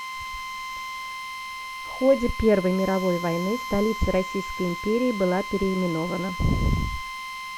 в ходе первой мировой войны столица российской империи была переименована